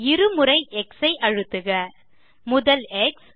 இருமுறை எக்ஸ் ஐ அழுத்துக முதல் எக்ஸ்